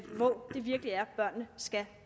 hvor det virkelig er børnene skal